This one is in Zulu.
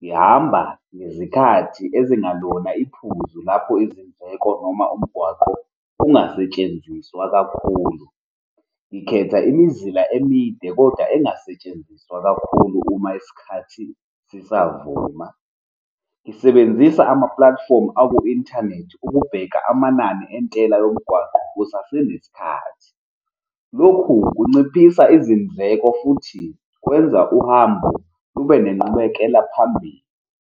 ngihamba ngezikhathi ezingelona iphuzu lapho izindleko noma umgwaqo kungasetshenziswa kakhulu, ngikhetha imizila emide kodwa engasetshenziswa kakhulu uma isikhathi sisavuma, ngisebenzisa ama-platform aku-inthanethi ukubheka amanani entela yomgwaqo kusasenesikhathi. Lokhu kunciphisa izindleko futhi kwenza uhambo lube nenqubekela phambili.